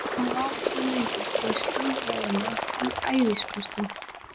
Hann var ekki lengur til stórræðanna í æðisköstunum.